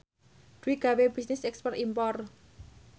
Dwi gawe bisnis ekspor impor